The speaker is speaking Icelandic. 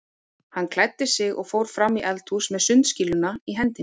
Hann klæddi sig og fór fram í eldhús með sundskýluna í hendinni.